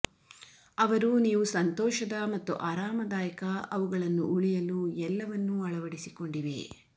ಅವರು ನೀವು ಸಂತೋಷದ ಮತ್ತು ಆರಾಮದಾಯಕ ಅವುಗಳನ್ನು ಉಳಿಯಲು ಎಲ್ಲವನ್ನೂ ಅಳವಡಿಸಿಕೊಂಡಿವೆ